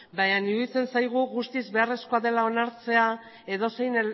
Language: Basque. baina iruditzen zaigu guztiz beharrezkoa dela onartzea edozein